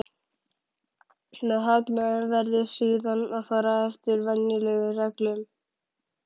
Með hagnaðinn verður síðan að fara eftir venjulegum reglum.